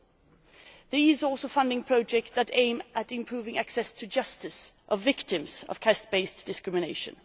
We are also funding projects that aim to improve access to justice for victims of caste based discrimination.